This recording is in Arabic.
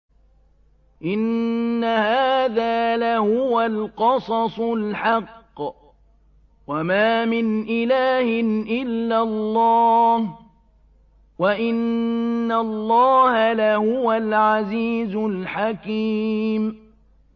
إِنَّ هَٰذَا لَهُوَ الْقَصَصُ الْحَقُّ ۚ وَمَا مِنْ إِلَٰهٍ إِلَّا اللَّهُ ۚ وَإِنَّ اللَّهَ لَهُوَ الْعَزِيزُ الْحَكِيمُ